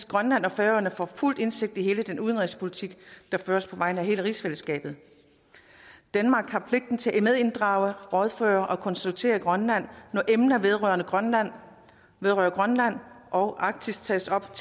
grønland og færøerne får fuld indsigt i hele den udenrigspolitik der føres på vegne af hele rigsfællesskabet danmark har pligt til at medinddrage rådføre og konsultere grønland når emner vedrørende grønland vedrørende grønland og arktis tages op